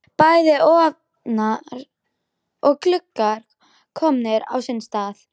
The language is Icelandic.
Bæði ofnar og gluggar komnir á sinn stað.